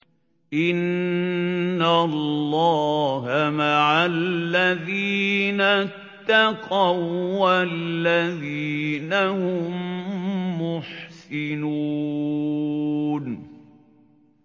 إِنَّ اللَّهَ مَعَ الَّذِينَ اتَّقَوا وَّالَّذِينَ هُم مُّحْسِنُونَ